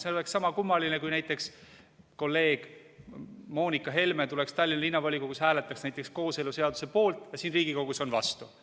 See oleks sama kummaline, kui näiteks kolleeg Helle-Moonika Helme hääletaks Tallinna Linnavolikogus kooseluseaduse poolt ja siin Riigikogus on vastu.